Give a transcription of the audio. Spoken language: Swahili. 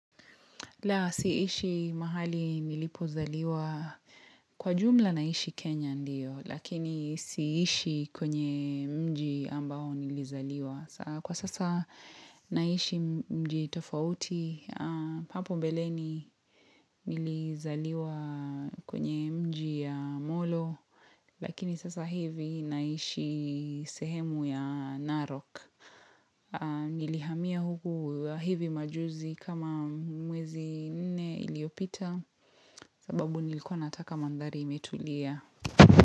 La siishi mahali nilipozaliwa kwa jumla naishi Kenya ndiyo, lakini siishi kwenye mji ambao nilizaliwa. Kwa sasa naishi mji tofauti, hapo mbeleni nilizaliwa kwenye mji ya Molo, lakini sasa hivi naishi sehemu ya Narok. Nilihamia huku hivi majuzi kama mwezi nne iliyopita sababu nilikuwa nataka mandhari imetulia.